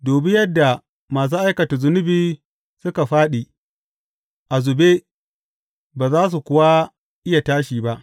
Dubi yadda masu aikata zunubi suka fāɗi, a zube, ba za su kuwa iya tashi ba!